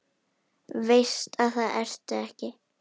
Veist að það ertu ekki.